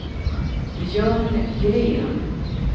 Björn Gren